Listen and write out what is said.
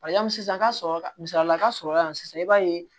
Yanni sisan ka sɔrɔ ka misaliyala ka sɔrɔ yan sisan i b'a ye